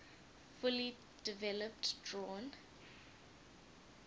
fully developed drawn